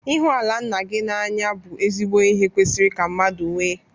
Ịhụ ala nna gị na-anya bụ ezigbo ihe kwesịrị ka mmadụ nwee.